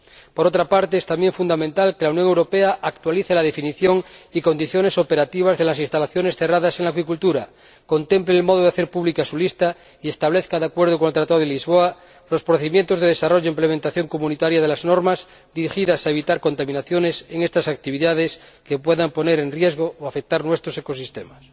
Por otra parte, es también fundamental que la Unión Europea actualice la definición y condiciones operativas de las instalaciones cerradas en la acuicultura, contemple el modo de hacer pública su lista y establezca, de acuerdo con el Tratado de Lisboa, los procedimientos de desarrollo o implementación comunitaria de las normas dirigidas a evitar contaminaciones en estas actividades que puedan poner en riesgo o afectar a nuestros ecosistemas.